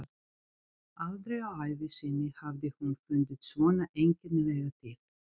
Aldrei á ævi sinni hafði hún fundið svona einkennilega til.